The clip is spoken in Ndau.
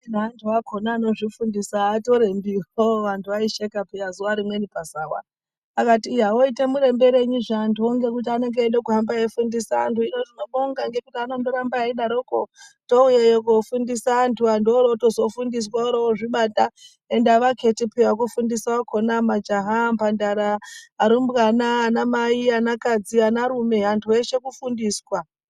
Hino vantu vacho vankzvifundisa havatorembiwo hoo vantu vaitosheka pihya zuwa rimweni pazawa zvikanzi voita murembe rei vantuwo ngekuti vanenge vachida kuhamba veifundisa antu hino tinobonga vanoramba veidaro touyayo kofundiswa antu vantu vorofundiswa vorozvibata ende avaketi piya wekufundisa wakona majaha mbandara arumbwana ana mai ana kadzi antu eshe kufundiswa.